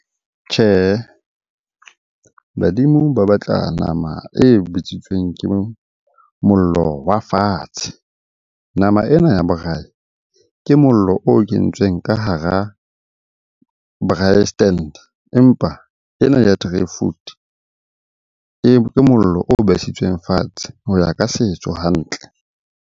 Tjhehe, badimo ba batla nama e bitsitsweng ke mollo wa fatshe. Nama ena ya braai ke mollo o kentsweng ka hara braai stand. Empa ena ya three ke mollo o besitsweng fatshe ho ya ka setso hantle.